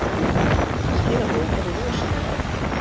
Skilaboðin eru rosalega einföld.